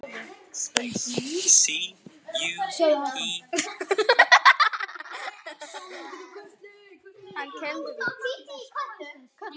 Svo kvað Tómas.